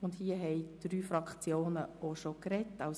Ich erteile das Wort zuerst Grossrat Bichsel für die FiKo.